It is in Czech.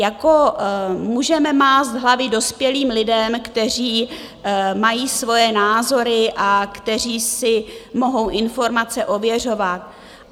Jako můžeme mást hlavy dospělým lidem, kteří mají svoje názory a kteří si mohou informace ověřovat.